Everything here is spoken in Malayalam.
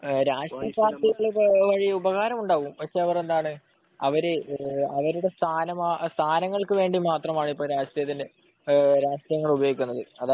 രാഷ്ട്രീയ പാർട്ടികളെക്കൊണ്ട് ഉപകാരമുണ്ടാവും പക്ഷെ അവർ ഇപ്പോൾ സ്ഥാനമാണങ്ങൾക്ക് വേണ്ടിമാത്രമാണ് ഇപ്പോൾ രാഷ്ട്രീയം ഉപയോഗിക്കുന്നത്